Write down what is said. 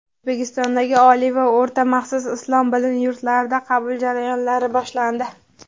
O‘zbekistondagi oliy va o‘rta maxsus islom bilim yurtlarida qabul jarayonlari boshlandi.